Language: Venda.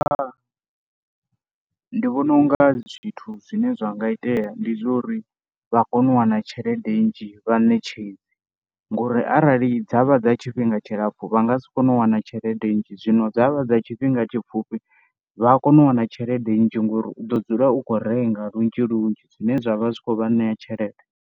Ndi vhona u nga zwithu zwine zwa nga itea ndi zwa lo ri vha kone u wana tshelede nzhi vhaṋetshedzi ngori arali dza vha dza tshifhinga nga tshilapfhu vha nga si kone u wana tshelede nnzhi. Zwino dza vha dza tshifhinga tshipfhufhi vha ya kona u wana tshelede nzhi ngauri u ḓo dzula u khou renga lunzhi lunzhi zwine zwa vha zwi khou vha ṋea tshelede.